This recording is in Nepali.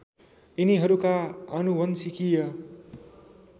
यिनीहरूका आनुवंशिकीय